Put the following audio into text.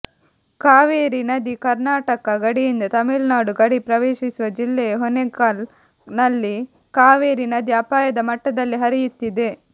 ಕಾವೇರಿ ನದಿ ಕರ್ನಾಟಕ ಗಡಿಯಿಂದ ತಮಿಳುನಾಡು ಗಡಿ ಪ್ರವೇಶಿಸುವ ಜಿಲ್ಲೆಯ ಹೊಗೇನಕಲ್ ನಲ್ಲಿ ಕಾವೇರಿ ನದಿ ಅಪಾಯದ ಮಟ್ಟದಲ್ಲಿ ಹರಿಯುತ್ತಿದೆ